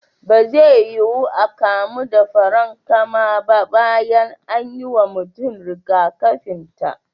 Ba zai yuwu a kamu da farankama ba bayan an yi wa mutum rigakafin ta.